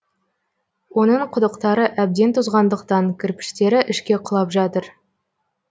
оның құдықтары әбден тозғандықтан кірпіштері ішке құлап жатыр